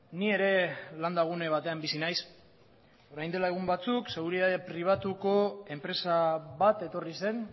ni ere landa gune batean bizi naiz orain dela egun batzuk seguridade pribatuko enpresa bat etorri zen